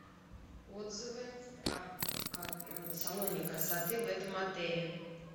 отзывы о салоне красоты в этом отеле